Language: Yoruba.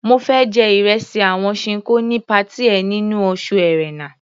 Mo fẹ́ jẹ ìresì àwọn Ṣinkó ní patí ẹ nínú oṣù Ẹ̀rẹnà.